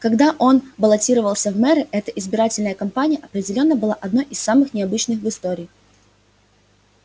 когда он баллотировался в мэры эта избирательная кампания определённо была одной из самых необычных в истории